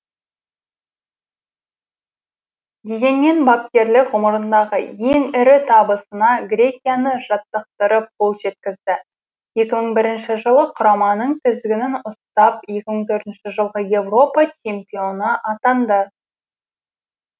дегенмен бапкерлік ғұмырындағы ең ірі табысына грекияны жаттықтырып қол жеткізді екі мың бірінші жылы құраманың тізгінін ұстап екі мың төртінші жылғы еуропа чемпионы атанды